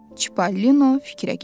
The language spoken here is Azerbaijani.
Çipalino fikrə getdi.